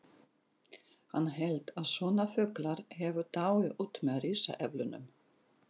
Hann hélt að svona fuglar hefðu dáið út með risaeðlunum!